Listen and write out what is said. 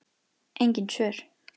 Engin svör.